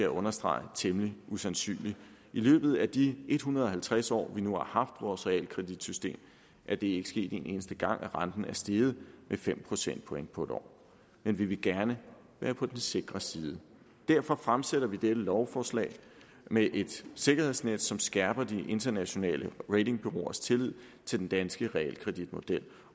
understrege temmelig usandsynligt i løbet af de en hundrede og halvtreds år vi nu har haft vores realkreditsystem er det ikke sket en eneste gang at renten er steget med fem procentpoint på et år men vi vil gerne være på den sikre side derfor fremsætter vi dette lovforslag med et sikkerhedsnet som skærper de internationale ratingbureauers tillid til den danske realkreditmodel